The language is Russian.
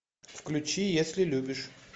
включи если любишь